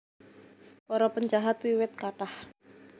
Para penjahat wiwit kathah